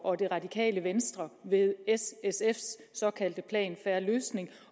og det radikale venstre ved s sfs såkaldte plan en fair løsning